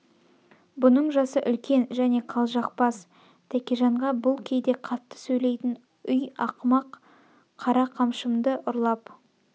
бұның жасы үлкен және қылжақбас тәкежанға бұл кейде қатты сөйлейтін үй ақымақ қара қамшымны ұрлап